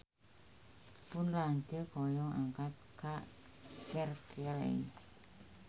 Pun lanceuk hoyong angkat ka Berkeley